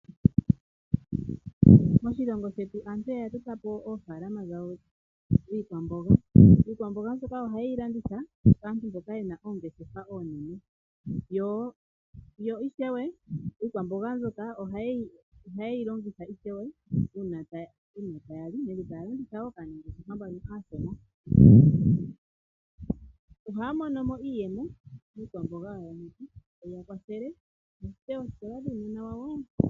Moshilongo shetu aantu oya dhika po oofalama dhawo dhiikwamboga. Iikwamboga mbyoka ohaye yi landitha kaalandi mboka yena oongeshefa oonene yo ishewe iikwamboga mbyoka ohaye yi longitha iishewe uuna taya li nenge taya landitha woo kaanangeshefa mboka aashona, ohaya mono mo iiyemo taye yi ya kwathele okulanda oothewa dhuunona wawo.